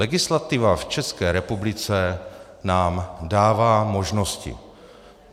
Legislativa v České republice nám dává možnosti.